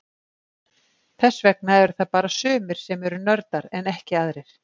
Þess vegna eru það bara sumir sem eru nördar en ekki aðrir.